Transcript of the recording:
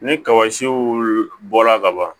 Ni kaba siw bɔla ka ban